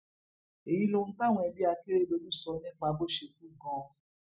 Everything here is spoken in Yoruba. èyí lohun táwọn ẹbí akérèdọlù sọ nípa bó ṣe kù gan